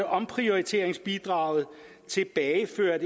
omprioriteringsbidraget tilbagefører